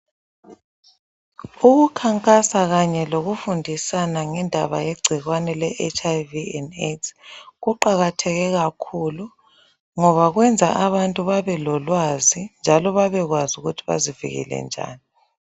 Ukukhankasa kanye lokufundisana ngendaba yegcikwane le HIV and AIDS kuqakathekile kakhulu ngoba kwenza abantu babe lolwazi njalo babekwazi ukuthi bazivikele njani.